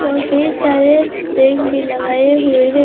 और कई सारे टेंट भी लगाए हुए हैं।